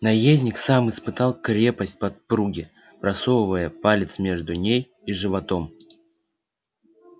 наездник сам испытал крепость подпруги просовывая палец между ней и животом